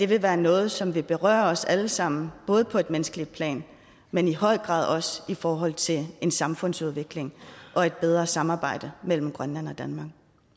vil være noget som vil berøre os alle sammen både på et menneskeligt plan men i høj grad også i forhold til en samfundsudvikling og et bedre samarbejde mellem grønland og danmark